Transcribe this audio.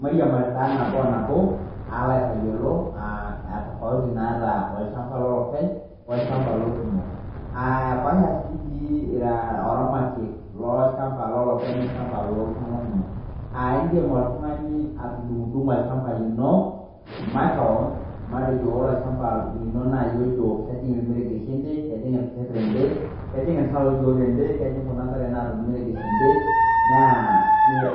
Maairiamari taa nabo oo nabo aloo aitayolo tofauti naata olchamba lolopeny olchamba loolkumok, epaasha sii dii ira oramatiek lolchamba lolopeny olchamba lolkumok indiim oltung'ani atundungdungo olchamba lino maakewon matejo ore olchamba linoo naa iyie ojo kejing' ilmeregeshi ende, kejing' elker endee , kejing' iltawoyo endee , kejing kuna tare naata olmeregesh endee naa